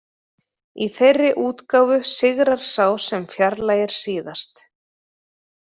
Í þeirri útgáfu sigrar sá sem fjarlægir síðast.